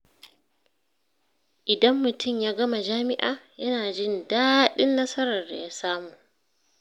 Idan mutum ya gama jami’a, yana jin daɗin nasarar da ya samu.